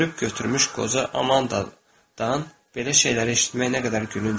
Körüb götürmüş qoca Amandadan belə şeyləri eşitmək nə qədər gülünc idi.